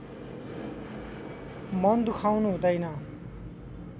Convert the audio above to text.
मन दुखाउनु हुँदैन